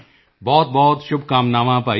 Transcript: ਬਹੁਤ ਸ਼ੁਭਕਾਮਨਾਵਾਂ ਭਾਈ